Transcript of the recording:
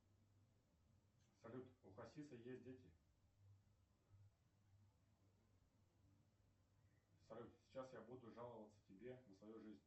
салют у хасиса есть дети салют сейчас я буду жаловаться тебе на свою жизнь